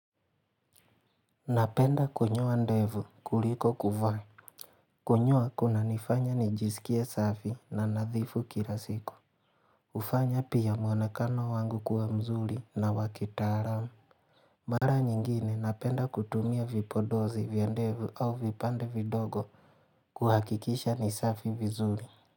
Napenda kunyoa ndevu kuliko kuvaa Kunyoa kuna nifanya nijisikia safi na nadhifu kilasiku hufanya pia mwonekano wangu kuwa mzuri na wakitaramu Mara nyingine napenda kutumia vipondozi vya ndevu au vipande vidogo kuhakikisha nisafi vizuri.